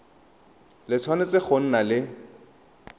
le tshwanetse go nna le